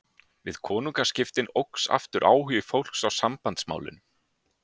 Við konungaskiptin óx aftur áhugi fólks á Sambandsmálinu.